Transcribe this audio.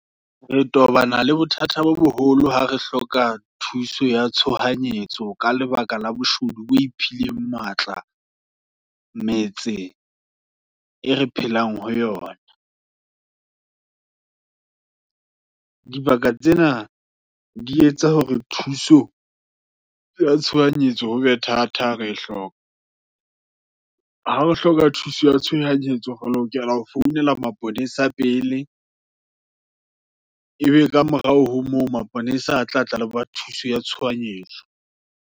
Re tobana le bothata bo boholo, ha re hloka thuso ya tshohanyetso, ka lebaka la boshodu bo iphile matla, metse e re phelang ho yona. Dibaka tsena, di etsa hore thuso, ya tshohanyetso, hobe thata hare hloka. Ha o hloka thuso ya tshohanyetso, re lokela hore re founela maponesa pele, ebe ka morao ho moo, maponesa a tla tla le ba, thuso ya tshohanyetso.